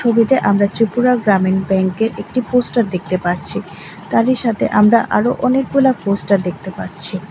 ছবিতে আমরা ত্রিপুরা গ্রামীণ ব্যাংকের একটি পোস্টার দেখতে পারছি তারই সাথে আমরা আরো অনেকগুলা পোস্টার দেখতে পারছি।